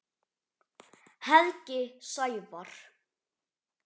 Helgi Sævar.